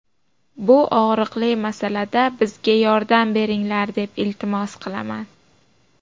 Bu og‘riqli masalada bizga yordam beringlar, deb iltimos qilaman.